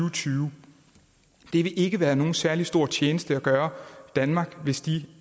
og tyve det vil ikke være nogen særlig stor tjeneste at gøre danmark hvis de